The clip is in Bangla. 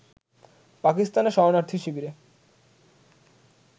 পাকিস্তানে শরণার্থী শিবিরে